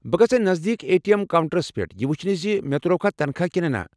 بہٕ گژھٕ نزدیكی اے ٹی اٮ۪م کونٛٹرس پٮ۪ٹھ یہِ وٕچھنہِ زِ مےٚ ترٛووکھٕ تنخواہ کنہٕ نہ۔